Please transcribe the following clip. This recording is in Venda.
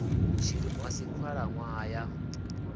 tshilimo a si khalaṋwaha ya